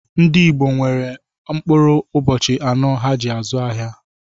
Ndị Igbò nwere mkpụrụ ụbọchị anọ há ji azụ ahịa.